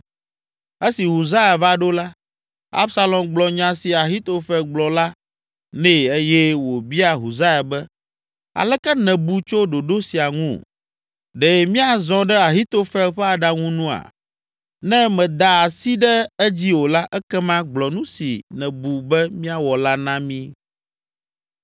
Esi Husai va ɖo la, Absalom gblɔ nya si Ahitofel gblɔ la nɛ eye wòbia Husai be, “Aleke nèbu tso ɖoɖo sia ŋu? Ɖe míazɔ ɖe Ahitofel ƒe aɖaŋu nua? Ne mèda asi ɖe edzi o la, ekema gblɔ nu si nèbu be míawɔ la na mí.”